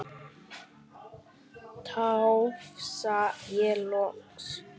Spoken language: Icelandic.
tafsa ég loks.